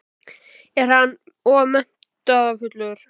Er hann of metnaðarfullur?